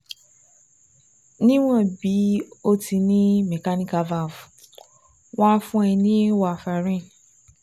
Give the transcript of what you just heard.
Níwọ̀n bí o ti ní mechanical valve, wọ́n á fún ẹ ní warfarin